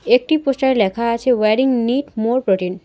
একটি পোস্টার -এ লেখা আছে ওয়ারিং নিড মোর প্রোটিন ।